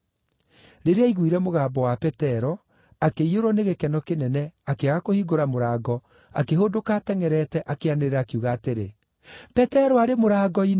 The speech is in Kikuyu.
Rĩrĩa aaiguire mũgambo wa Petero, akĩiyũrwo nĩ gĩkeno kĩnene akĩaga kũhingũra mũrango akĩhũndũka atengʼerete, akĩanĩrĩra, akiuga atĩrĩ, “Petero arĩ mũrango-inĩ!”